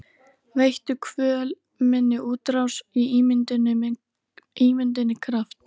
Veittu kvöl minni útrás og ímynduninni kraft.